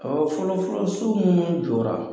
Ɔ fɔlɔ fɔlɔ so munnu jɔra